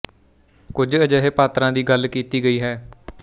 ਕੁਝ ਅਜਿਹੇ ਪਾਤਰਾਂ ਦੀ ਗੱਲ ਕੀਤੀ ਗਈ ਹੈ